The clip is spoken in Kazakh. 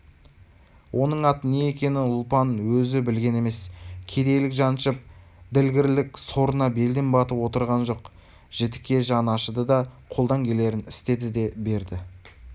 оның аты не екенін ұлпан өзі білген емес кедейлік жаншып ділгірлік сорына белден батып отырған жоқ-жітікке жаны ашыды да қолдан келерін істеді де берді